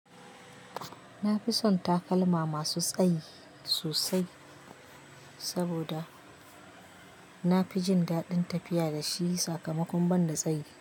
Na fi son takalma masu tsayi sosai saboda na fi jin daɗin tafiya da shi sakamakon ban da tsayi.